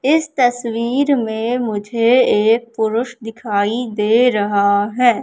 इस तस्वीर में मुझे एक पुरुष दिखाई दे रहा है।